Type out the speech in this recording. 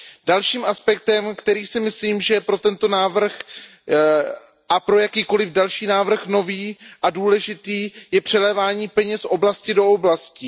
Dalším aspektem, který si myslím, že je pro tento návrh a pro jakýkoliv další návrh nový a důležitý, je přelévání peněz z oblasti do oblasti.